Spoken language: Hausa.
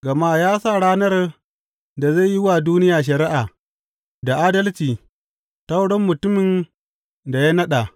Gama ya sa ranar da zai yi wa duniya shari’a da adalci ta wurin mutumin da ya naɗa.